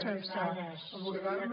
sense abordar lo